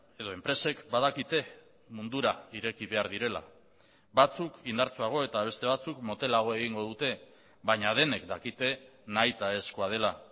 edo enpresek badakite mundura ireki behar direla batzuk indartsuago eta beste batzuk motelago egingo dute baina denek dakite nahitaezkoa dela